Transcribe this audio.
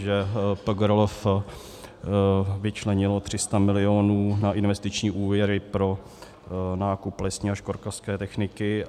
Že PGRLF vyčlenil 300 milionů na investiční úvěry pro nákup lesní a školkařské techniky.